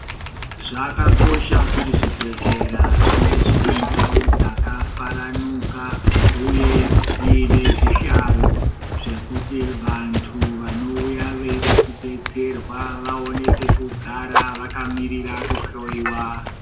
Zvakakosha kuti zvibhedhlera zvinge zvine ndau dzakafaranuka, uye dziine zvihlayo zvekuti vanthu vanouya veida kudetserwa vaone pekugara vakaemera kuhloiwa.